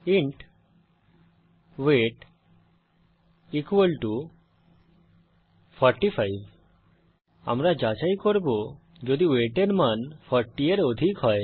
int weight 45 আমরা যাচাই করব যদি ওয়েট এর মান 40 এর অধিক হয়